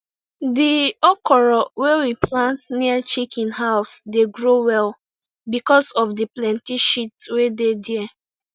di okra wey we plant near chicken house dey grow well because of the plenty shit wey dey there